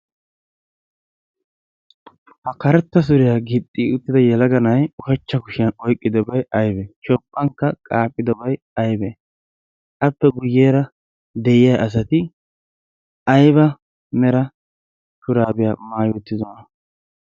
ha karetta suriyaa gixxi uttida yalaganai ushachcha kushiyan oiqqidobai aibe? shophphankka qaaphphidobai aibe? appe guyyeera de7iya asati aiba mera shuraabiyaa maayi uttidona?